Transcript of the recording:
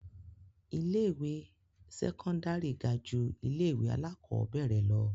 Ilé-ìwé sẹ́kọ́ndárì ga ju ilé-ìwé alákọ̀ọ́bẹ̀rẹ̀ lọ.